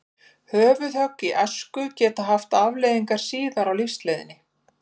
Höfuðhögg í æsku geta haft afleiðingar síðar á lífsleiðinni.